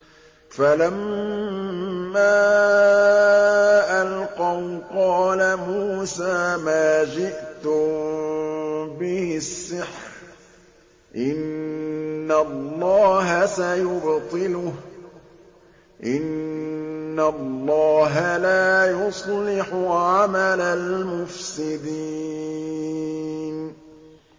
فَلَمَّا أَلْقَوْا قَالَ مُوسَىٰ مَا جِئْتُم بِهِ السِّحْرُ ۖ إِنَّ اللَّهَ سَيُبْطِلُهُ ۖ إِنَّ اللَّهَ لَا يُصْلِحُ عَمَلَ الْمُفْسِدِينَ